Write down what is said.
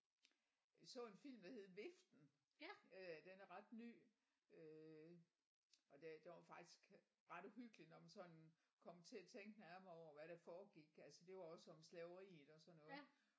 Vi så en film der hed Viften øh den er ret ny øh og det den var faktisk ret uhyggelig når man sådan kom til at tænke nærmere over hvad der foregik altså det var også om slaveriet og sådan noget